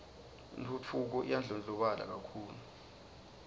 intfutfuko iyandlondlobala kakhulu